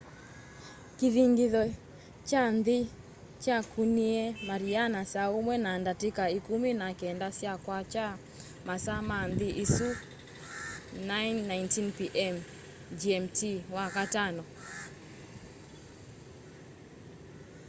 kĩthingitho kya nthĩ kyakũnie mariana saa ũmwe na ndatĩka ĩkũmi na kenda sya kwakya masaa ma nthĩ ĩsu 09:19 p.m. gmt wakatano